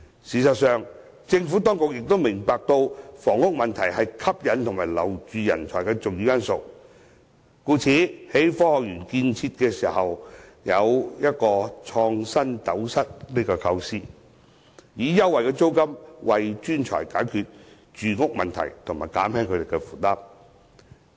事實上，政府當局亦明白，房屋問題是吸引和挽留人才的重要因素，故此在建設科學園時便有"創新斗室"的構思，以優惠租金為專才解決住屋問題及減輕他們的負擔。